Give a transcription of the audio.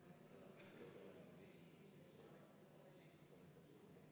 Proovime olla täpsed, erakond tõesti siin saalis ei ole pädev paluma mitte midagi.